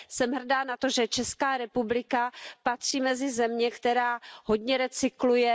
Jsem hrdá na to, že Česká republika patří mezi země, které hodně recyklují.